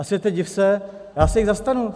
A světe div se, já se jich zastanu.